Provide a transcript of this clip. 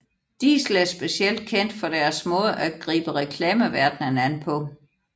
Diesel er specielt kendt for deres måde at gribe reklameverdenen an på